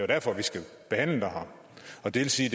derfor vi skal behandle det her og det vil sige